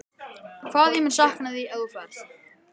Hvað ég mun sakna þín þegar þú ferð.